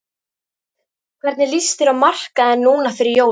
Hvernig lýst þér á markaðinn núna fyrir jólin?